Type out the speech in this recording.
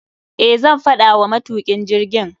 Eh, zan faɗa wa matukin jirgin.